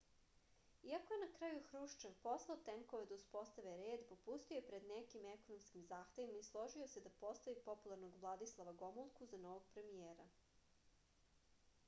iako je na kraju hruščev poslao tenkove da uspostave red popustio je pred nekim ekonomskim zahtevima i složio se da postavi popularnog vladislava gomulku za novog premijera